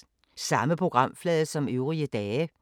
Samme programflade som øvrige dage